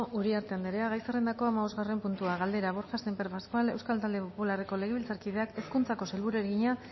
uriarte anderea gai zerrendako hamabosgarren puntua galdera borja sémper pascual euskal talde popularreko legebiltzarkideak hezkuntzako sailburuari egina